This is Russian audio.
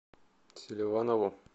селиванову